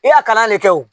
I y'a kalan ne kɛ o